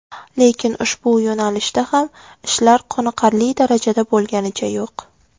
Lekin, ushbu yo‘nalishda ham ishlar qoniqarli darajada bo‘lganicha yo‘q.